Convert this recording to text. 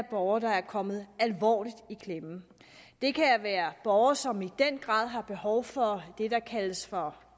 borgere er kommet alvorligt i klemme det kan være borgere som i den grad har behov for det der kaldes for